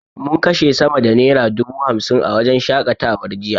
Mun kashe sama da naira dubu hamsin a wajen shaƙatawar jiya.